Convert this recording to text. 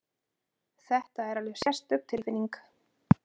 Þetta er alveg sérstök tilfinning!